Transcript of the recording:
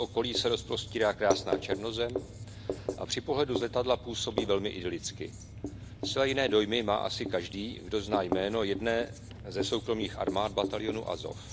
V jeho okolí se rozprostírá krásná černozem a při pohledu z letadla působí velmi idylicky. Zcela jiné dojmy má asi každý, kdo zná jméno jedné ze soukromých armád, batalionu Azov.